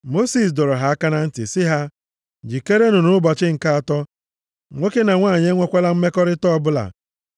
Mosis dọrọ ha aka na ntị sị ha, “Jikerenụ nʼụbọchị nke atọ. Nwoke na nwanyị enwekwala mmekọrịta ọbụla.”